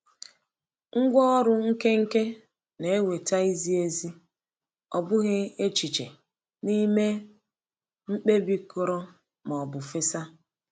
Ngwá ọrụ nkenke na-eweta izi ezi, ọ bụghị echiche, n’ime mkpebi kụrụ ma ọ bụ fesa.